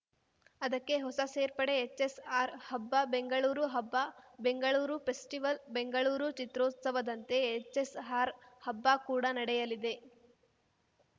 ಅದಕ್ಕೆ ಹೊಸ ಸೇರ್ಪಡೆ ಹೆಚ್‌ಎಸ್‌ಆರ್‌ ಹಬ್ಬ ಬೆಂಗಳೂರು ಹಬ್ಬ ಬೆಂಗಳೂರು ಫೆಸ್ಟಿವಲ್‌ ಬೆಂಗಳೂರು ಚಿತ್ರೋತ್ಸವದಂತೆ ಹೆಚ್‌ಎಸ್‌ಆರ್‌ ಹಬ್ಬ ಕೂಡ ನಡೆಯಲಿದೆ